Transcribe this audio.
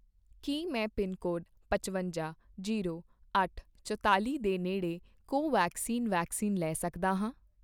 ਕੀ ਮੈਂ ਪਿਨਕੋਡ ਪਚਵੰਜਾ, ਜੀਰੋ, ਅੱਠ, ਚੁਤਾਲ਼ੀ ਦੇ ਨੇੜੇ ਕੋਵੈਕਸਿਨ ਵੈਕਸੀਨ ਲੈ ਸਕਦਾ ਹਾਂ?